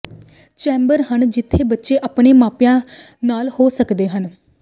chamber ਹਨ ਜਿੱਥੇ ਬੱਚੇ ਆਪਣੇ ਮਾਪਿਆਂ ਨਾਲ ਹੋ ਸਕਦੇ ਹਨ